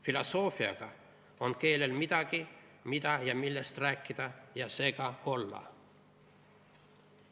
Filosoofiaga on keelel midagi, mida ja millest rääkida, ja seega olla.